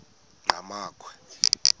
enqgamakhwe